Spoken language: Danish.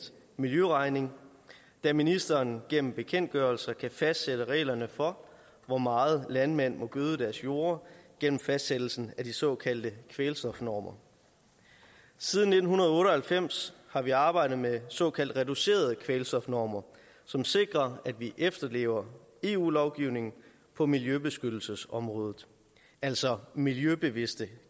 miljøregning da ministeren gennem bekendtgørelser kan fastsætte reglerne for hvor meget landmænd må gøde deres jorde gennem fastsættelsen af de såkaldte kvælstofnormer siden nitten otte og halvfems har vi arbejdet med såkaldt reducerede kvælstofnormer som sikrer at vi efterlever eu lovgivningen på miljøbeskyttelsesområdet altså miljøbevidste